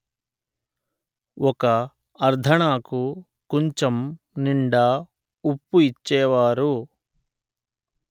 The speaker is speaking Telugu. ఒక అర్ధణాకు కుంచం నిండా ఉప్పు ఇచ్చేవారు